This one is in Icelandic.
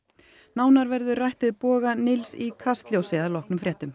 nánar verður rætt við Boga Nils í Kastljósi að loknum fréttum